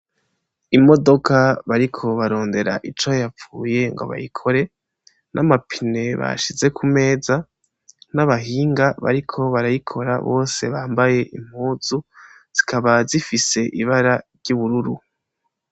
Imodoka bariko barondera ico yapfuye ngo bayikore, n'amapine bashize kumeza, n'abahinga bariko barayikora bose bambaye impuzu zikaba zifise ibara ry'ubururu.